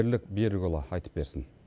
бірлік берікұлы айтып берсін